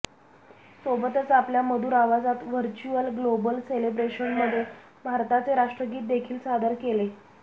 सोबतच आपल्या मधूर आवाजात व्हर्च्युअल ग्लोबल सेलेब्रेशनमध्ये भारताचे राष्ट्रगीत देखील सादर केले